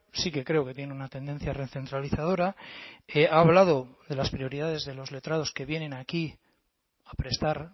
sí que creo que tiene una tendencia recentralizadora ha hablado de las prioridades de los letrados que vienen aquí a prestar